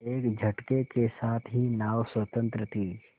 एक झटके के साथ ही नाव स्वतंत्र थी